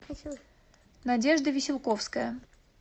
надежда веселковская